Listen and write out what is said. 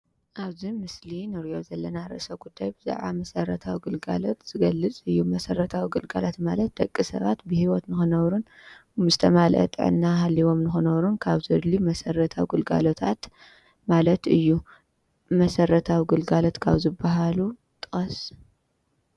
ኣብዚ ምስሊ ንርእዮ ዘለና ርእስ ጉዳይ ብዛዕባ መሰረታዊ ግልጋሎት ዝገልጽ እዩ። መሰረታዊ ግልጋሎት ማለት ደቂ ሰባት ብሂወት ንኽነብሩን ዝተማለአ ጥዕና ሃልይዎም ንኽነብሩን ካብ ዘድልዩ መሰረታዊ ግልጋሎት ማለት እዩ። መሰረታዊ ግልጋሎት ካብ ዝባሃሉ ጥቀስ?